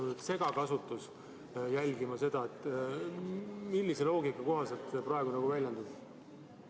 Millise loogika kohaselt vähendada?